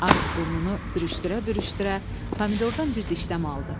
Ağız-burnunu pürüşdürə-pürüşdürə, pomidordan bir dişləmə aldı.